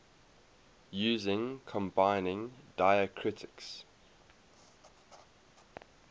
using combining diacritics